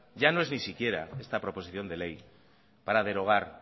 ya no es ni siquiera esta proposición de ley para derogar